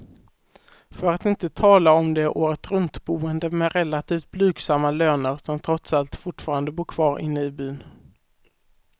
För att inte tala om de åretruntboende med relativt blygsamma löner, som trots allt fortfarande bor kvar inne i byn.